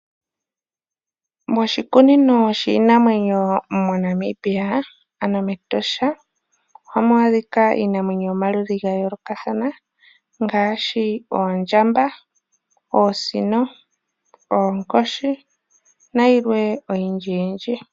Moshikunino shiinamwenyo mo Namibia ano mEtosha. Ohamu adhika iinamwenyo yomaludhi gayoolokathana ngaashi oondjamba, oonsino, oonkoshi nayilwe oyindji yindji.